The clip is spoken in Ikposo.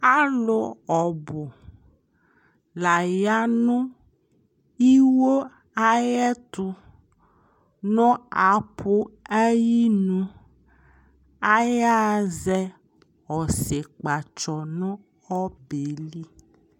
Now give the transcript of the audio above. Alu ɔnu la ya nu iwo ayɛtu nu apu ayinu ayaɣa zɛɛ ɔsikpatsɔ nu ɔbɛli